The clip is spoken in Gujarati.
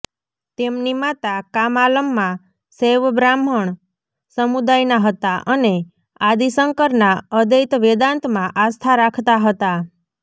તેમની માતા કામાલમ્મા શૈવ બ્રાહ્મણ સમુદાયના હતા અને આદિ શંકરના અદ્વૈત વેદાંતમાં આસ્થા રાખતા હતા